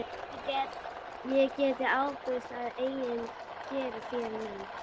Mamma hleypur upp tröppurnar og faðmar að sér systur sína.